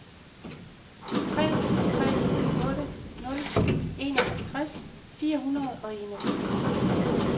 tre tre otte nul enoghalvtreds fire hundrede og enogfirs